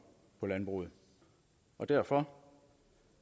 på landbruget derfor